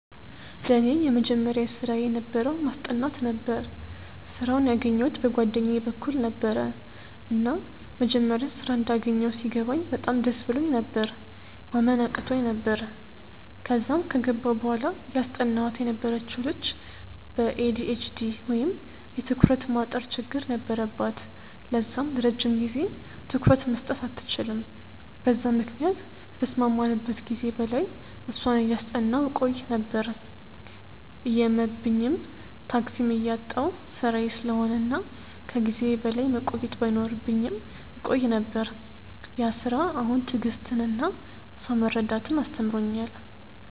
ለኔ የመጀመሪያ ስራየ የነበረው ማስጠናት ነበረ። ስራውን ያገኘዉት በ ጓደኛየ በኩል ነበረ፤ እና መጀመሪያ ስራ እንዳገኘው ሲገባኝ በጣም ደስ ብሎኝ ነበር፤ ማመን አቅቶኝ ነበር፤ ከዛም ከገባው በኋላ እያስጠናዋት የነበረችው ልጅ በ ኤ.ዲ.ኤ.ች.ዲ ወይም የ ትኩረት ማጠር ችግር ነበረባት ለዛም ለረጅም ጊዜ ትኩረት መስጠት አትችልም በዛም ምክንያት ከተስማማንበት ጊዜ በላይ እሷን እያጠናው ቆይ ነበር፤ እየመብኝም፤ ታክሲም እያጣው ስራዬ ስለሆነ እና ከ ጊዜዬ በላይ መቆየት ባይኖርብኝም እቆይ ነበር፤ ያ ስራ አሁን ትዕግስትን እና ሰውን መረዳትን አስተምሮኛል።